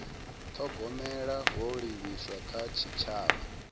thogomela ho livhiswaho kha tshitshavha